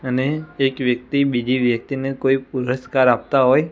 અને એક વ્યક્તિ બીજી વ્યક્તિને કોઈ પુરસ્કાર આપતા હોય--